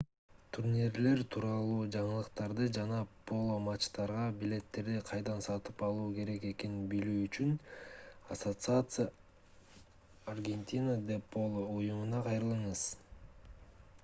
турнирлер тууралуу жаңылыктарды жана поло матчтарга билеттерди кайдан сатып алуу керек экенин билүү үчүн asociacion argentina de polo уюмуна кайрылыңыз